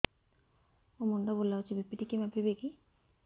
ମୋ ମୁଣ୍ଡ ବୁଲାଉଛି ବି.ପି ଟିକିଏ ମାପିବ କି